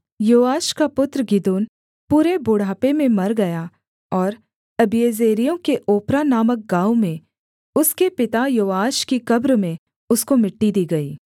योआश का पुत्र गिदोन पूरे बुढ़ापे में मर गया और अबीएजेरियों के ओप्रा नामक गाँव में उसके पिता योआश की कब्र में उसको मिट्टी दी गई